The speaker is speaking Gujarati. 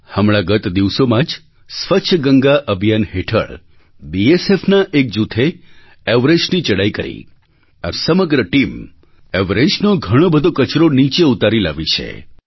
હમણાં ગત દિવસોમાં જ સ્વચ્છ ગંગા અભિયાન હેઠળ બીએસએફના એક જૂથે એવરેસ્ટની ચડાઈ કરી આ સમગ્ર ટીમ એવરેસ્ટનો ઘણો બધો કચરો નીચે ઉતારી લાવી છે